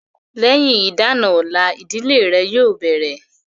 Lẹ́yìn ìdá-àna ọ̀la, ìdílé rẹ̀ yóò bẹ̀rẹ̀